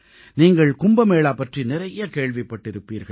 நீங்கள் கும்ப மேளா பற்றி நிறைய கேள்விப்பட்டிருப்பீர்கள்